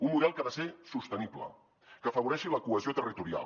un model que ha de ser sostenible que afavoreixi la cohesió territorial